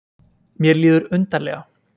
Mér líður undarlega.